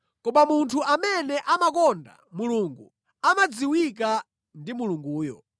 Koma munthu amene amakonda Mulungu amadziwika ndi Mulunguyo.